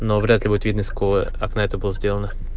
но вряд-ли будет видно из какого окна это было сделано